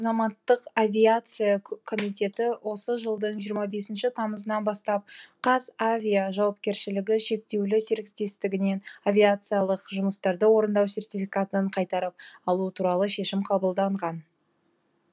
азаматтық авиация комитеті осы жылдың жиырма бесінші тамызынан бастап қазавиа жауапкершілігі шектеулі серіктестігінен авиациялық жұмыстарды орындау сертификатын қайтарып алу туралы шешім қабылдаған